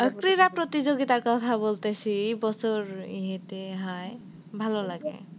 কথা বলতেসি বছর ইয়েতে হয় ভালো লাগে।